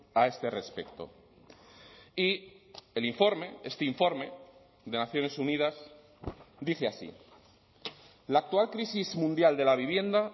a este respecto y el informe este informe de naciones unidas dice así la actual crisis mundial de la vivienda